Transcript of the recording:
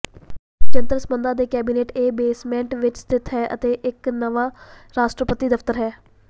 ਜਨਤਕ ਸੰਬੰਧਾਂ ਦੇ ਕੈਬਨਿਟ ਇਹ ਬੇਸਮੈਂਟ ਵਿੱਚ ਸਥਿਤ ਹੈ ਅਤੇ ਇੱਕ ਨਵਾਂ ਰਾਸ਼ਟਰਪਤੀ ਦਫਤਰ ਹੈ